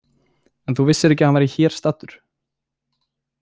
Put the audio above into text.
En þú vissir ekki að hann væri hér staddur?